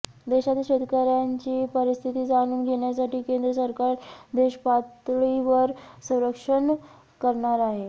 देशातील शेतकऱ्यांची परिस्थिती जाणून घेण्यासाठी केंद्र सरकार देशपातळीवर सर्वेक्षण करणार आहे